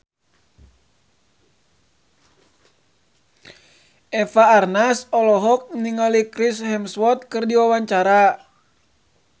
Eva Arnaz olohok ningali Chris Hemsworth keur diwawancara